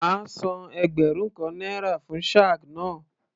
Màá san ẹgbẹ̀rún kan náírà fún shag náà.